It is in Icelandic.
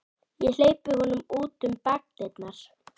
Ég hleypti honum út um bakdyrnar.